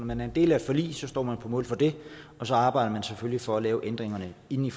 man er en del af forlig står man på mål for det og så arbejder man selvfølgelig for at lave ændringerne inden